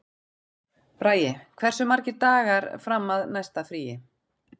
Bragi, hversu margir dagar fram að næsta fríi?